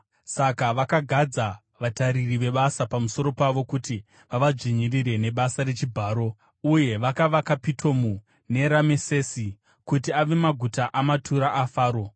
Saka vakagadza vatariri vebasa pamusoro pavo kuti vavadzvinyirire nebasa rechibharo, uye vakavaka Pitomu neRamesesi kuti ave maguta amatura aFaro.